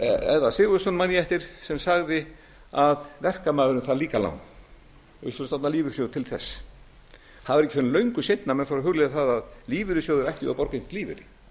eðvarð sigurðsson man ég eftir sem sagði að verkamaðurinn þarf líka lán við skulum stofna lífeyrissjóði til þess það var ekki fyrr en löngu seinna að menn fóru að hugleiða það að lífeyrissjóðir ættu að borga einhvern lífeyri